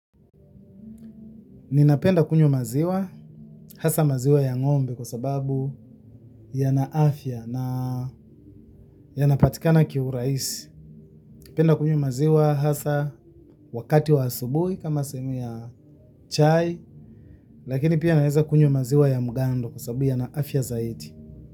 Ninapenda kunywa maziwa, hasa maziwa ya ng'ombe kwa sababu ni ya afya na yanapatikana kiurahisi. Napenda kunywa maziwa hasa wakati wa asubuhi kama sehemu ya chai, lakini pia naweza kunywa maziwa ya mgando kwa sababu ni ya afya zaidi.